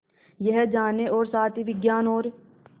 यह जानने और साथ ही विज्ञान और